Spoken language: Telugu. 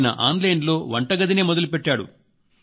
ఆయన ఆన్ లైన్ లో వంటగదినే మొదలు పెట్టారు